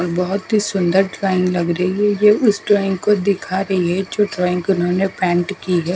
बोहोत ही सुन्दर ड्राइंग लग रही है ये उस ड्राइंग को दिखा रही है जो ड्राइंग उसने पेंट की है ।